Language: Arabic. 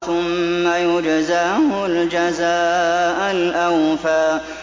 ثُمَّ يُجْزَاهُ الْجَزَاءَ الْأَوْفَىٰ